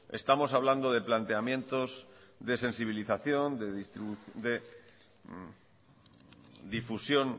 estamos hablando de planteamientos de sensibilización de difusión